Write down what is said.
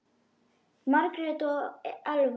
Margrét og Elfa.